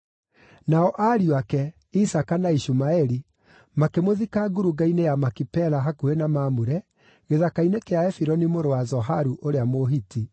Nao ariũ ake, Isaaka na Ishumaeli, makĩmũthika ngurunga-inĩ ya Makipela hakuhĩ na Mamure, gĩthaka-inĩ kĩa Efironi mũrũ wa Zoharu ũrĩa Mũhiti,